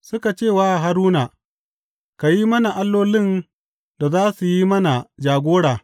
Suka ce wa Haruna, Ka yi mana allolin da za su yi mana jagora.